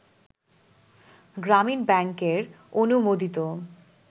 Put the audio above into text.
গ্রামীণ ব্যাংকের অনুমোদিত